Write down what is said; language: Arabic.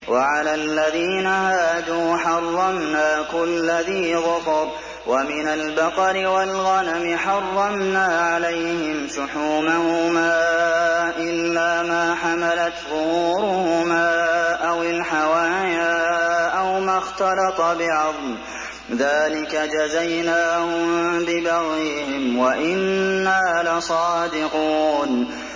وَعَلَى الَّذِينَ هَادُوا حَرَّمْنَا كُلَّ ذِي ظُفُرٍ ۖ وَمِنَ الْبَقَرِ وَالْغَنَمِ حَرَّمْنَا عَلَيْهِمْ شُحُومَهُمَا إِلَّا مَا حَمَلَتْ ظُهُورُهُمَا أَوِ الْحَوَايَا أَوْ مَا اخْتَلَطَ بِعَظْمٍ ۚ ذَٰلِكَ جَزَيْنَاهُم بِبَغْيِهِمْ ۖ وَإِنَّا لَصَادِقُونَ